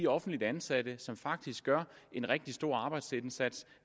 offentligt ansatte som faktisk gør en rigtig stor arbejdsindsats